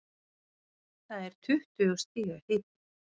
Það er tuttugu stiga hiti.